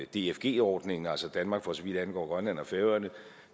dfg ordningen altså danmark for så vidt angår grønland og færøerne